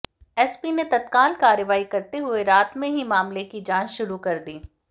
SP ने तत्काल कार्रवाई करते हुए रात में ही मामले की जांच शुरू कर दी